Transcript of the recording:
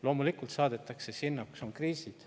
Loomulikult saadetakse sinna, kus on kriisid.